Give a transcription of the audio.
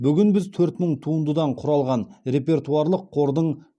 бүгін біз төрт мың туындыдан құралған репертуарлық қордың